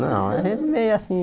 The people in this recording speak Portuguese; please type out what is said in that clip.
Não a gente meio assim